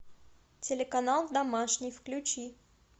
телеканал домашний включи